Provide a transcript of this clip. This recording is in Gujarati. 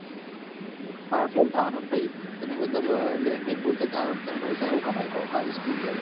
Pass શું થવા નાં ને પછી તમે મતલબ language બોલતે જ નાં અવળે તો પૈસા શું કમાઈ શકો?